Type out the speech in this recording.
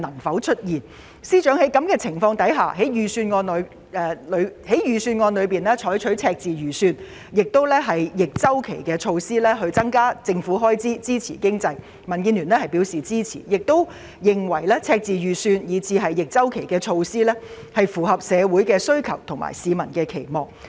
在此情況下，司長在預算案中提出赤字預算，以及採取逆周期措施增加政府開支支持經濟，民建聯表示支持，並認為赤字預算以至逆周期措施符合社會需求和市民期望。